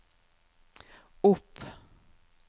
opp